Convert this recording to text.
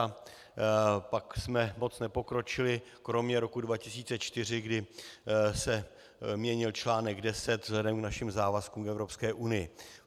A pak jsme moc nepokročili, kromě roku 2004, kdy se měnil článek 10 vzhledem k našim závazkům v Evropské unii.